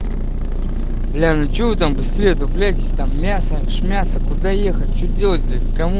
бля ну че вы там быстрее отдупляйтесь там мясо шмясо куда ехать что делать блять кому